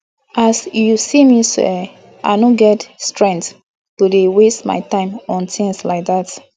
as you see me so eh i no get strength to dey waste my time on things like dat